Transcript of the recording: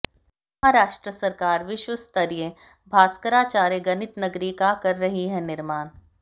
महाराष्ट्र सरकार विश्व स्तरीय भास्कराचार्य गणित नगरी का कर रही है निर्माण